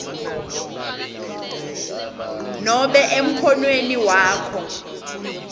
nobe emkhonweni wakho